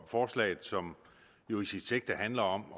forslaget som jo i sit sigte handler om